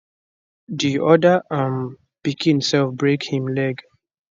di other um pikin self break him leg